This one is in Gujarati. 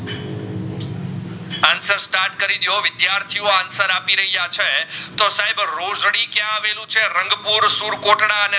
ડેઓ વિદ્યાર્થીઓ answer આપી રહ્યા છે તો સાહેબ રોજડી ક્યાં અવલુ છે રંગપુર સુરકોટડા